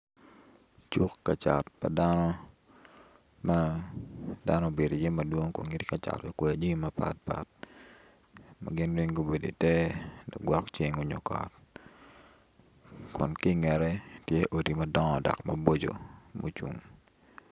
Cuk kacat pa dano ma dano ma dano obedo iye madwon ma gin weng gitye kacat ma gubedo ite lagwong ceng onyo kot kun kingete tye odi madongo dok maboco ma ocung